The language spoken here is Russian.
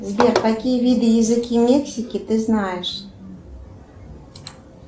сбер какие виды языки мексики ты знаешь